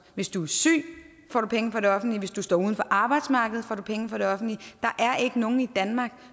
hvis du er syg får du penge fra det offentlige hvis du står uden for arbejdsmarkedet får du pengene fra det offentlige der er ikke nogen i danmark